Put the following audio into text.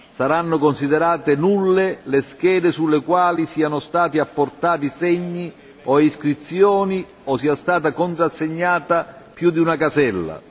Saranno considerate nulle le schede sulle quali siano stati apportati segni o iscrizioni o sia stata contrassegnata più di una casella.